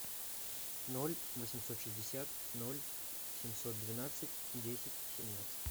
ноль восемьсот шестьдесят ноль семьсот двенадцать десять семнадцать